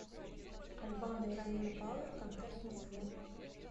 аль бано и ромина пауэр концерт в москве